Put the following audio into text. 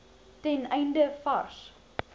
ten einde vars